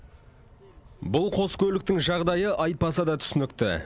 бұл қос көліктің жағдайы айтпаса да түсінікті